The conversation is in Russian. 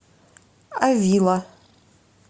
авила